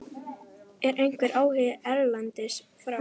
Er einhver áhugi erlendis frá?